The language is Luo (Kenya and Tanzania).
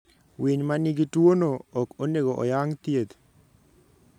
Winy ma nigi tuwono ok onego oyang' thieth.